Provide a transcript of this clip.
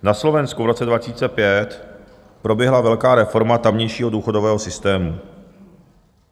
Na Slovensku v roce 2005 proběhla velká reforma tamějšího důchodového systému.